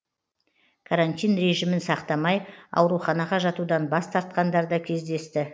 карантин режимін сақтамай ауруханаға жатудан бас тартқандар да кездесті